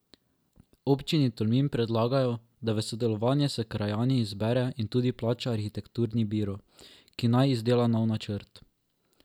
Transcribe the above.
Občini Tolmin predlagajo, da v sodelovanju s krajani izbere in tudi plača arhitekturni biro, ki naj izdela nov načrt.